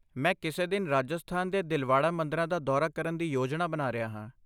ਮੈਂ ਕਿਸੇ ਦਿਨ ਰਾਜਸਥਾਨ ਦੇ ਦਿਲਵਾੜਾ ਮੰਦਰਾਂ ਦਾ ਦੌਰਾ ਕਰਨ ਦੀ ਯੋਜਨਾ ਬਣਾ ਰਿਹਾ ਹਾਂ।